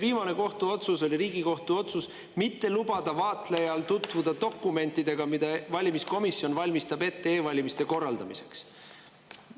Viimane kohtuotsus oli Riigikohtu otsus mitte lubada vaatlejal tutvuda dokumentidega, mida valimiskomisjon valmistab ette e-valimiste korraldamiseks.